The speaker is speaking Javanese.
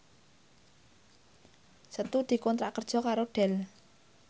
Setu dikontrak kerja karo Dell